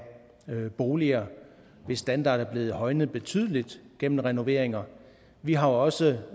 boliger hvis standard er blevet højnet betydeligt gennem renoveringer vi har også